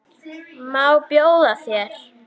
Má bjóða þér?